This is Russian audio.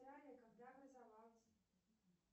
когда образовалась